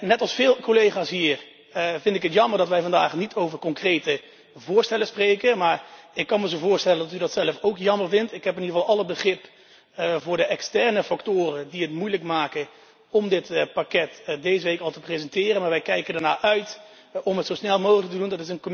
Net als veel collega's hier vind ik het jammer dat wij vandaag niet over concrete voorstellen spreken, maar ik kan me zo voorstellen dat u dat zelf ook jammer vindt. Ik heb in ieder geval alle begrip voor de externe factoren die het moeilijk maken om dit pakket deze week al te presenteren. Wij kijken er echter naar uit om het zo snel mogelijk te doen.